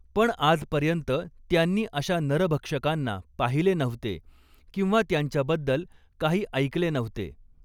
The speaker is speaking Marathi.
पण आजपर्यन्त त्यांनी अशा नरभक्षकांना पाहिले नव्हते किंवा त्यांच्याबद्दल काही ऐकले नव्हते.